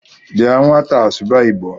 Bịa nwataa sụba Igbo